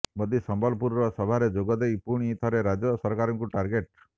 ମୋଦି ସମ୍ବଲପୁର ସଭାରେ ଯୋଗ ଦେଇ ପୁଣି ଥରେ ରାଜ୍ୟ ସରକାରଙ୍କୁ ଟାର୍ଗେଟ